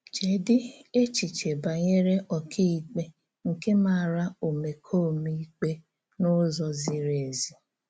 Chèdí̀ èchìchè bànyèrè ọ́kàíkpè nke màrà òmékòmè ìkpè n’ụ́zọ̀ zírí èzí.